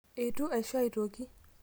eitu aisho aitoki